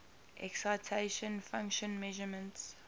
excitation function measurements